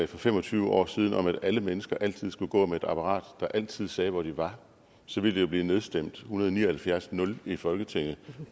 for fem og tyve år siden om at alle mennesker altid skulle gå med et apparat der altid sagde hvor de var så ville det jo blive nedstemt 179 0 i folketinget